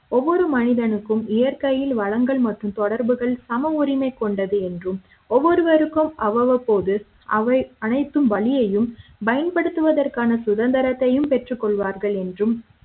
ஒவ்வொரு மனிதனுக்கும் இயற்கையில் வழங்கல் மற்றும் தொடர்புகள் சம உரிமை கொண்டது என்றும் ஒவ்வொருவருக்கும் அவ்வப்போது அவை அனைத்து வழியையும் பயன்படுத்துவதற்கான சுதந்திரத்தையும் பெற்றுக் கொள்வார்கள் என்றும்